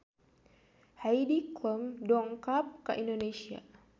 Heidi Klum dongkap ka Indonesia